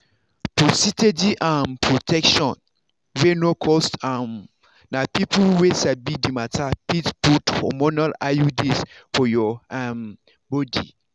for steady um protection wey no cost um na people wey sabi the matter fit put hormonal iuds for your um body.